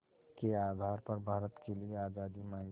के आधार पर भारत के लिए आज़ादी मांगी